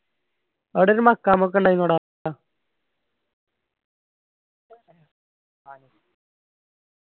അവിടെ ഒരു മഖാമത്ത് ഇണ്ടായിരുന്ന് ടാ